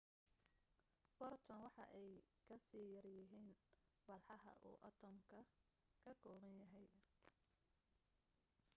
photons waxa ay kasii yaryihiin walxaha uu atoms-ka ka kooban yahay